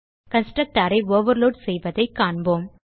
constructor ஐ overload செய்வதைக் காண்போம்